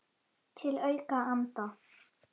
Til að auka andann.